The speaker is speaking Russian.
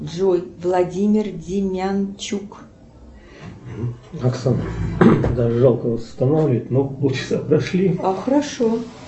джой владимир димянчук